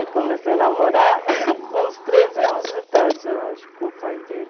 Eu comecei a namorar com uns treze anos de idade, eu acho, com o pai dele.